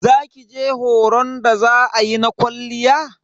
Za kije horon da za ayi na kwalliya?